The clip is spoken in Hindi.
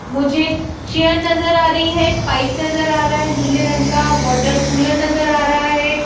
मुझे च चेयर नज़र आ रही है पाइप नज़र आ रहा है नीले रंग का वाटर कूलर नज़र आ रहा है।